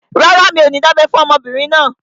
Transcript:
Rárá, mi ò ní dábẹ́ fún ọmọbìnrin náà